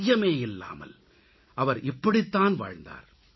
ஐயமே இல்லாமல் அவர் இப்படித்தான் வாழ்ந்தார்